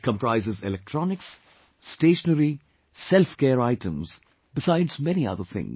It comprises electronics, stationery, selfcare items besides many other things